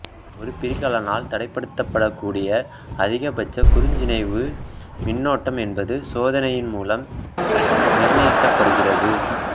ஒரு பிரிகலனால் தடைப்படுத்தப்படக்கூடிய அதிகபட்ச குறுஞ்சுற்றிணைவு மின்னோட்டம் என்பது சோதனையின் மூலம் நிர்ணயிக்கப்படுகிறது